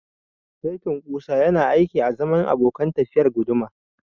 Saitin ƙusa yana aiki azaman abokan tafiyar guduma.